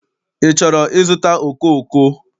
Ị chọrọ ịzụta okooko?